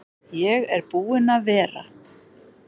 Ég er búinn að vera.